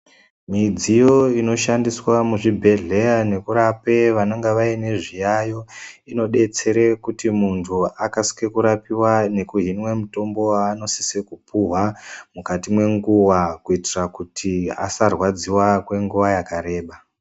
Midziyo inoshandiswa muzvibhedhlera nekurape vanenge vane zviyayo inodetsera kuti muntu akasire kurapiwa nekuhinwa mutombo wanosisa kupihwa mukati menguwa kuitira kuti asarwadziwa kwenguwa yakareba.